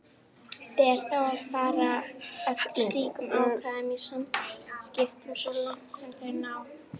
Ber þá að fara eftir slíkum ákvæðum í samþykktunum svo langt sem þau ná.